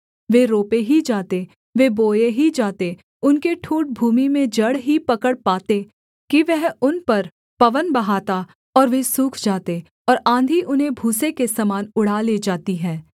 वे रोपे ही जाते वे बोए ही जाते उनके ठूँठ भूमि में जड़ ही पकड़ पाते कि वह उन पर पवन बहाता और वे सूख जाते और आँधी उन्हें भूसे के समान उड़ा ले जाती है